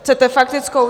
Chcete faktickou?